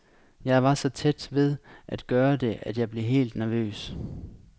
Jeg var så tæt ved at gøre det, at jeg blev helt nervøs.